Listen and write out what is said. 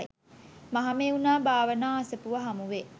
මහමෙව්නා භාවනා අසපුව හමුවේ.